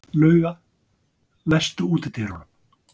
Lauga, læstu útidyrunum.